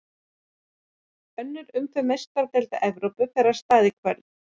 Önnur umferð Meistaradeildar Evrópu fer af stað í kvöld.